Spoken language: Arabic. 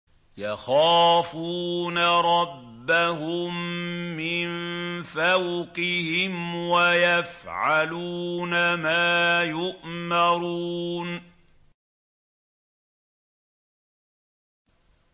يَخَافُونَ رَبَّهُم مِّن فَوْقِهِمْ وَيَفْعَلُونَ مَا يُؤْمَرُونَ ۩